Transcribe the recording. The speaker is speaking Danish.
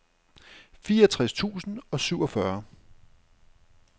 fireogtres tusind og syvogfyrre